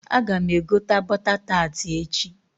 Aga m egota bọta taati echi.